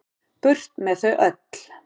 Burt með þau öll.